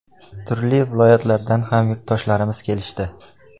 Turli viloyatlardan ham yurtdoshlarimiz kelishdi.